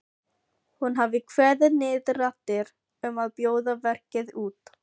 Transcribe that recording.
Hún hafi kveðið niður raddir um að bjóða verkið út.